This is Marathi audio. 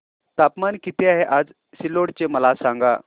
तापमान किती आहे आज सिल्लोड चे मला सांगा